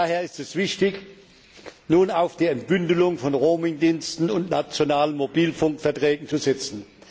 Daher ist es wichtig, nun auf die Entbündelung von Roaming Diensten und nationalen Mobilfunkverträgen zu setzen.